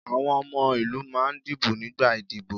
Àwọn ọmọ ìlú máà ń dìbò nígbà ìdíbò.